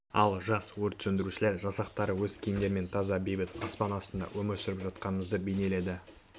ал жас өрт сөндірушілер жасақтары өз киімдерімен таза бейбіт аспан астында өмір сүріп жатқанымызды бейнеледі